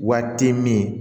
Waati min